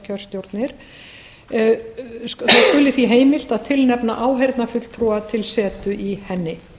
kjörstjórnir það skuli því heimilt að tilnefna áheyrnarfulltrúa til setu í henni